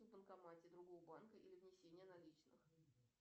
в банкомате другого банка или внесение наличных